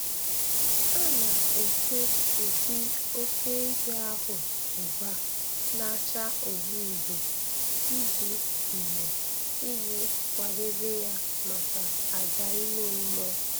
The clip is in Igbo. A na-ete mpi oké ehi ahụ agba na-acha uhie uhie iji uhie iji kwadebe ya maka àjà ime mmụọ.